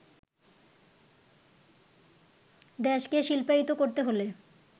দেশকে শিল্পায়িত করতে হলে